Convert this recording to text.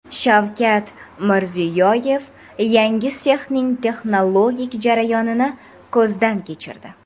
Shavkat Mirziyoyev yangi sexning texnologik jarayonini ko‘zdan kechirdi.